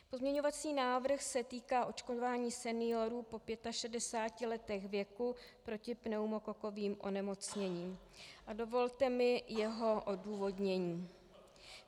Pozměňovací návrh se týká očkování seniorů po 65 letech věku proti pneumokokovým onemocněním a dovolte mi jeho odůvodnění.